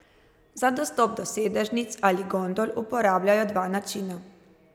Za dostop do sedežnic ali gondol uporabljajo dva načina.